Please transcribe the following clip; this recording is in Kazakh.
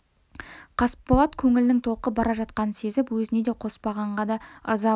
қасболат көңілінің толқып бара жатқанын сезіп өзіне де қоспанға да ыза болды